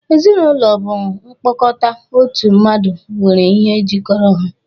Ezinaụlọ bụ mkpokota ọtụu mmadụ nwere ihe jikọrọ ha.